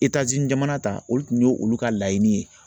jamana ta olu tun ye olu ka laɲini ye